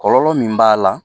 Kɔlɔlɔ min b'a la